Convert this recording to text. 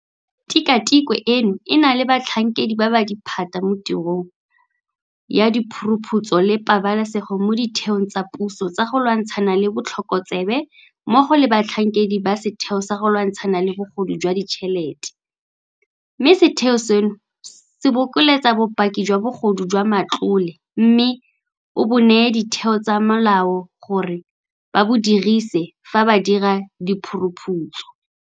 Tikwatikwe eno e na le batlhankedi ba ba diphatsa mo tirong ya diphuruphutso le pabalesego mo ditheong tsa puso tsa go lwantshana le botlhokotsebe mmogo le batlhankedi ba Setheo sa go Lwantshana le Bogodu jwa Ditšhelete, mme setheo seno se bokeletsa bopaki jwa bogodu jwa matlole mme o bo neye ditheo tsa molao gore ba bo dirise fa ba dira diphuruphutso.